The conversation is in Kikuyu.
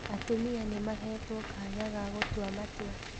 Atumia nĩmahetwo kanya ga gũtua matua